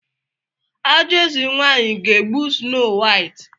Ajọ eze nwanyị ga-egbu Snow White?